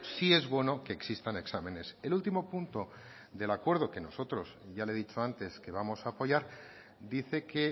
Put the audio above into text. sí es bueno que existan exámenes el último punto del acuerdo que nosotros ya le he dicho antes que vamos a apoyar dice que